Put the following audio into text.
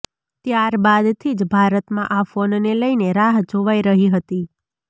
ત્યાર બાદથી જ ભારતમાં આ ફોનને લઈને રાહ જોવાઈ રહી હતી